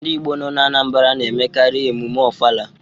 Ndị Igbo nọ n'Anambra na-emekarị emume Ofala.